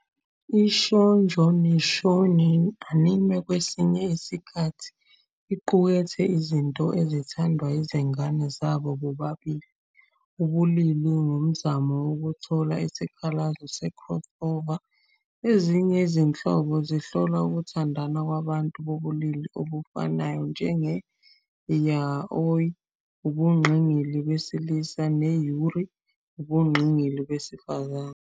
I-Shoujo ne-shounen anime kwesinye isikhathi iqukethe izinto ezithandwa yizingane zabo bobabili ubulili ngomzamo wokuthola isikhalazo se-crossover. Ezinye izinhlobo zihlola ukuthandana kwabantu bobulili obufanayo, njenge- "yaoi", ubungqingili besilisa, ne- "yuri", ubungqingili besifazane.